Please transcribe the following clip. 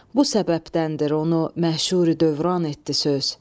Bu səbəbdəndir onu məşhuri dövran etdi söz.